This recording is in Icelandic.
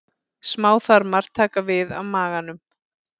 Smáþarmar taka við af maganum.